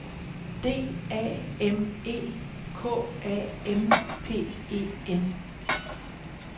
D A M E K A M P E N